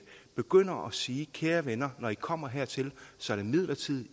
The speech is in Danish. begynder at sige kære venner når i kommer hertil så er det midlertidigt